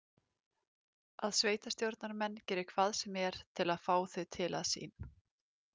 Að sveitarstjórnamenn geri hvað sem er til að fá þau til að sín.